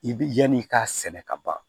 I bi yan'i k'a sɛnɛ ka ban